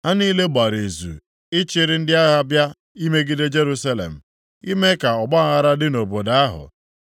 Ha niile gbara izu ịchịrị ndị agha bịa imegide Jerusalem, ime ka ọgbaaghara dị nʼobodo ahụ.